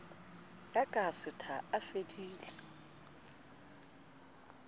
ya ka setha a fedile